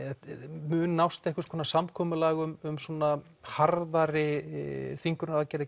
mun nást einhvers konar samkomulag um harðari þvingunaraðgerðir